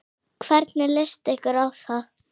Hvernig leyst ykkur á það?